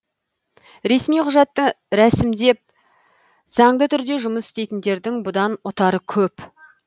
ресми құжатын рәсімдеп заңды түрде жұмыс істейтіндердің бұдан ұтары көп